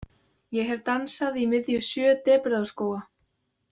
Ég hef dansað í miðju sjö depurðarskóga.